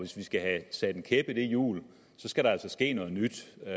skal have sat en kæp i det hjul skal der altså ske noget nyt og